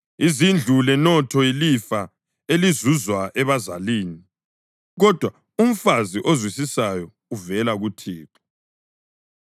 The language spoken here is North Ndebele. Izindlu lenotho yilifa elizuzwa ebazalini, kodwa umfazi ozwisisayo uvela kuThixo.